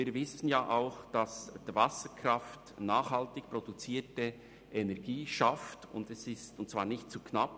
Wir wissen auch, dass Wasserkraft nachhaltig produzierte Energie schafft und zwar nicht zu knapp: